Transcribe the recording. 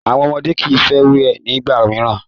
Àwọn ọmọdé kii fẹ wẹ̀ ni ìgbà mìíràn.